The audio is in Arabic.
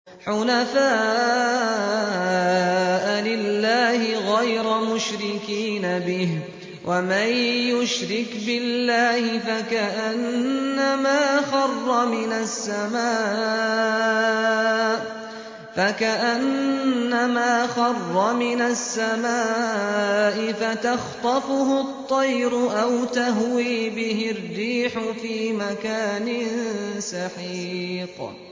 حُنَفَاءَ لِلَّهِ غَيْرَ مُشْرِكِينَ بِهِ ۚ وَمَن يُشْرِكْ بِاللَّهِ فَكَأَنَّمَا خَرَّ مِنَ السَّمَاءِ فَتَخْطَفُهُ الطَّيْرُ أَوْ تَهْوِي بِهِ الرِّيحُ فِي مَكَانٍ سَحِيقٍ